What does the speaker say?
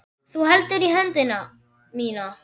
Þú heldur í höndina mína.